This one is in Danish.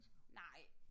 Nej